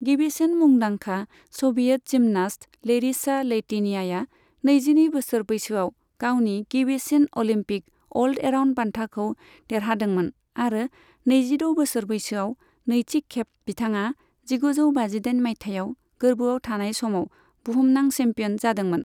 गिबिसिन मुंदांखा Soviet gymnast Larisa Latynina नैजिनै बोसोर बैसोआव गावनि गिबिसिन अलिम्पिक अल एराउन्ड बान्थाखौ देरहादोंमोन आरो नैजिद' बोसोर बैसोआव नैथि खेब, बिथाङा जिगुजौ बाजिदाइन मायथायाव गोर्बोआव थानाय समाव बुहुमनां चेम्पियन जादोंमोन।